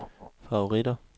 favoritter